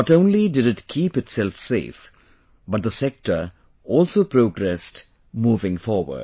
Not only did it keep itself safe, but the sector also progressed, moving forward